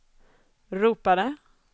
ropade